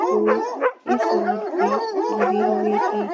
फूल इस रोड पे गीले हुए है |